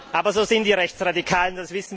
Aber so sind die Rechtsradikalen.